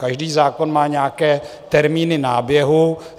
Každý zákon má nějaké termíny náběhu.